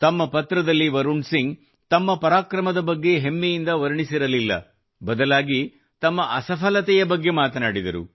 ತಮ್ಮ ಪತ್ರದಲ್ಲಿ ವರುಣ್ ಸಿಂಗ್ ತಮ್ಮ ಪರಾಕ್ರಮದ ಬಗ್ಗೆ ಹೆಮ್ಮೆಯಿಂದ ವರ್ಣಿಸಿರಲಿಲ್ಲ ಬದಲಾಗಿ ತಮ್ಮ ಅಸಫಲತೆಯ ಬಗ್ಗೆ ಮಾತನಾಡಿದರು